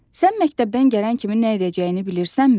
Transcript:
Sən məktəbdən gələn kimi nə edəcəyini bilirsənmi?